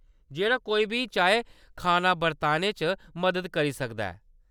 जेह्‌‌ड़ा कोई बी चाहै खाना बरताने च मदद करी सकदा ऐ।